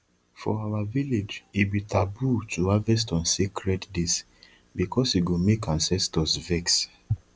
for our village e be taboo to harvest on sacred days because e go make ancestors vex